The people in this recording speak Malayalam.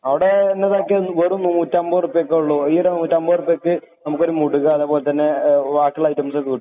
അവിടെ ഇതിനൊക്കെ വെറും നൂറ്റിയമ്പത് ഉറുപ്പികയെ ഉള്ളു. ഇവിടെ നൂറ്റിയമ്പത് ഉറുപ്പികയ്ക്ക് നമുക്കൊരു മുടുക അതുപോലെ തന്നെ വാക്കിയൊള്ള ഐറ്റംസ് കിട്ടു.